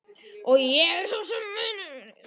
Og ég er sá eini sem það gerir.